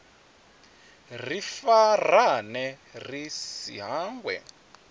ri farane ri si hangwe